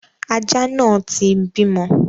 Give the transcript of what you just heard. Aja náà ti ń bímọ.